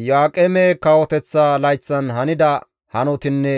Iyo7aaqeme kawoteththa layththan hanida hanotinne